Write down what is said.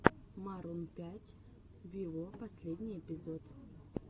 марун пять виво последний эпизод